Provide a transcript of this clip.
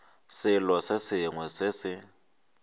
selo se sengwe se se